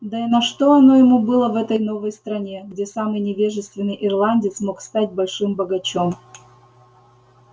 да и на что оно ему было в этой новой стране где самый невежественный ирландец мог стать большим богачом